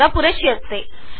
four MB जागा लागेल